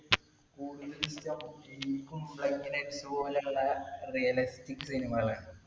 Kumbalangi nights പോലുള്ള realistic cinema കൾ ആണ്.